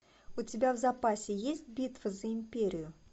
у тебя в запасе есть битва за империю